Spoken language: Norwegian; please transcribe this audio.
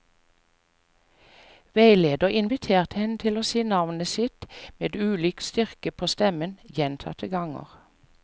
Veileder inviterte henne til å si navnet sitt med ulik styrke på stemmen, gjentatte ganger.